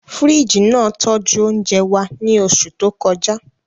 Fíríjì náà tọ́jú oúnjẹ wa ní oṣù tó kọjá